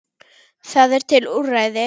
Það eru til úrræði.